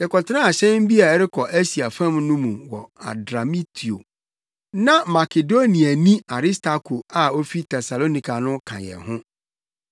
Yɛkɔtenaa hyɛn bi a ɛrekɔ Asia fam no mu wɔ Adramitio. Na Makedoniani Aristarko a ofi Tesalonika no ka yɛn ho.